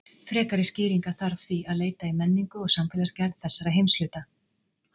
Frekari skýringa þarf því að leita í menningu og samfélagsgerð þessara heimshluta.